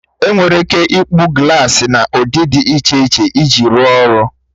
Enwere ike ịkpụ glaasi n'ụdị dị iche iche iji rụọ ọrụ.